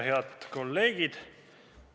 Head kolleegid!